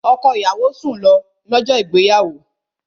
Ọkọ ìyàwó sùn lọ, lọ́jọ́ ìgbéyàwó